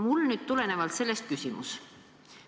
Sellest tulenevalt on mul küsimus.